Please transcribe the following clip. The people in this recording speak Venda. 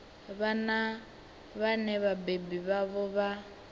vhana vhane vhabebi vhavho vha